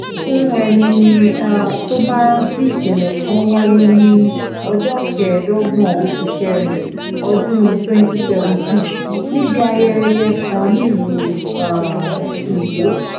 fún ẹni um tó bá rántí ìṣẹ̀lẹ̀ kan wáyé ní ọjọ́ kẹẹ̀ẹ́dọ́gbọ̀n oṣù kẹrin ọdún twenty seventeen níbi ayẹyẹ kan nílùú um èkó